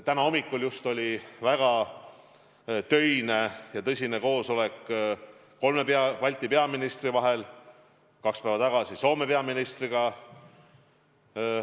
Täna hommikul oli väga töine ja tõsine koosolek kolme Balti peaministri vahel, kaks päeva tagasi Soome peaministriga.